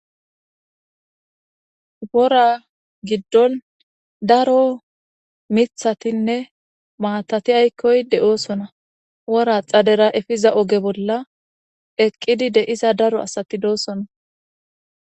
wora giddon daro mithatinne maatati aykkoy de'oosona wora xadera efiza oge bolla eqqidi de'iza daro asati doosona